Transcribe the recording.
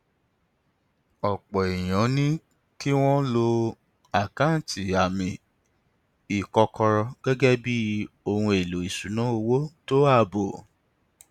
ọpọ èèyàn ní kí wọn lo àkáǹtì àmì ìkọkọrọ gẹgẹ bí ohun èlò ìṣúnná owó tó ààbò